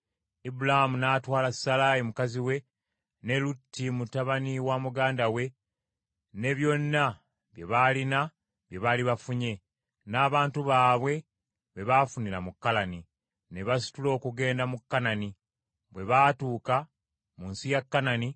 Ibulaamu n’atwala Salaayi mukazi we, ne Lutti mutabani wa muganda we ne byonna bye baalina bye baali bafunye, n’abantu baabwe be baafunira mu Kalani, ne basitula okugenda mu Kanani. Ne batuuka mu nsi ya Kanani.